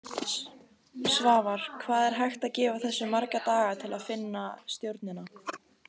Svavar: Hvað er hægt að gefa þessu marga daga til að finna stjórnina?